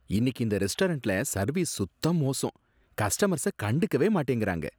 இன்னிக்கு இந்த ரெஸ்டாரண்ட்ல சர்வீஸ் சுத்த மோசம், கஸ்டமர்ஸ கண்டுக்கவே மாட்டேங்கறாங்க.